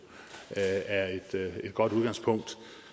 er et godt udgangspunkt